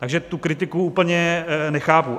Takže tu kritiku úplně nechápu.